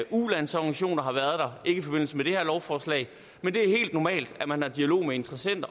ulandsorganisationer har været der ikke i forbindelse med det her lovforslag men det er helt normalt at man har dialog med interessenter